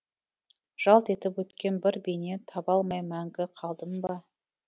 жалт етіп өткен бір бейне таба алмай мәңгі қалдым ба